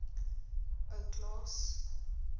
ou klaas